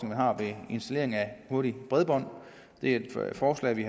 man har ved installering af hurtigt bredbånd det er et forslag vi